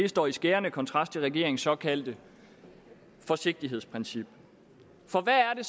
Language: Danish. står i skærende kontrast til regeringens såkaldte forsigtighedsprincip for hvad er